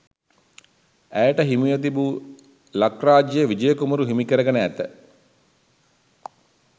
ඇයට හිමිව තිබූ ලක්රාජ්‍ය විජය කුමරු හිමිකරගෙන ඇත.